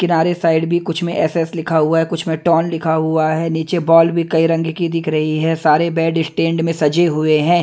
किनारे साइड भी कुछ में एस_एस लिखा हुआ है कुछ में लिखा हुआ है नीचे बॉल भी कई रंग की दिख रही है सारे बेड स्टैंड में सजे हुए हैं।